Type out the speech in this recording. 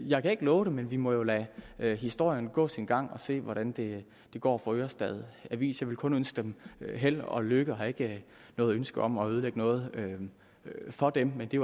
jeg kan ikke love det men vi må lade historien gå sin gang og se hvordan det går for ørestad avis jeg vil kun ønske dem held og lykke og har ikke noget ønske om at ødelægge noget for dem men det